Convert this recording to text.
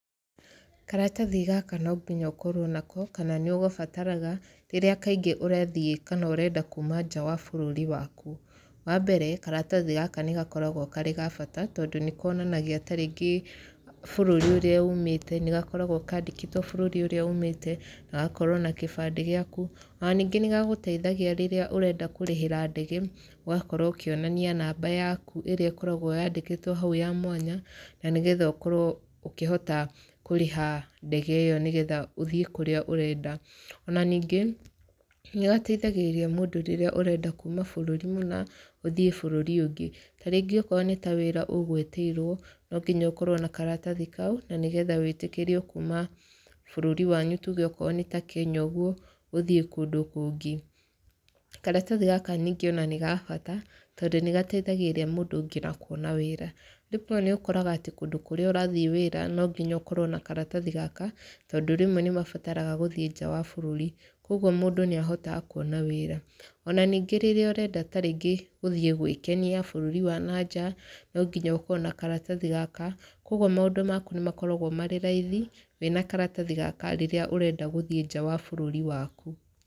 Karatathi gaka no nginya ũkorwo nako, kana nĩ ũgabataraga rĩrĩa kaingĩ ũrathiĩ kana ũrenda kuuma nja wa bũrũri waku. Wa mbere, karatathi gaka nĩ gakoragwo karĩ ga bata, tondũ nĩ konanagia tarĩngĩ bũrũri ũrĩa uumĩte, nĩ gakoragwo kandĩkĩtwo bũrũri ũrĩa uumĩte, na gagakorwo na kĩbandĩ gĩaku. Ona ningĩ nĩ gagũteithagia rĩrĩa ũrenda kũrĩhĩra ndege, ũgakorwo ũkĩonania namba yaku ĩrĩa ĩkoragwo yandĩkĩtwo hau ya mwanya, na nĩgetha ũkorwo ũkĩhota kũrĩha ndege ĩyo nĩgetha ũthiĩ kũrĩa ũrenda. Ona ningĩ, nĩ gateithagĩrĩria mũndũ rĩrĩa ũrenda kuuma bũrũri mũna, ũthiĩ bũrũri ũngĩ. Tarĩngĩ okorwo nĩ ta wĩra ũgũĩtĩirwo, no nginya ũkorwo na karatathi kau, na nĩgetha wĩtĩkĩrwo kuuma bũrũri wanyu tuge okorwo nĩ ta Kenya ũguo, ũthiĩ kũndũ kũngĩ. Karatathi gaka ningĩ ona nĩ ga bata, tondũ nĩ gateithagĩrĩria mũndũ ngina kuona wĩra. Rĩmwe nĩ ũkoraga atĩ kũndũ kũrĩa ũrathiĩ wĩra, no nginya ũkorwo na karatathi gaka, tondũ rĩmwe nĩ mabataraga gũthiĩ nja wa bũrũri. Kũguo mũndũ nĩ ahotaga kuona wĩra. Ona ningĩ rĩrĩa ũrenda tarĩngĩ gũthiĩ gwĩkenia bũrũri wa na nja, no nginya ũkorwo na karatathi gaka. Kũguo maũndũ maku nĩ makoragwo marĩ raithi, wĩna karatathi gaka, rĩrĩa ũrenda gũthiĩ nja wa bũrũri waku.